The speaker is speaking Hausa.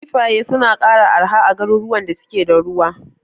Kifaye suna arha a garuruwan da suke da ruwa.